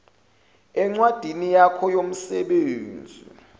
encwadini yakho yomsebenzi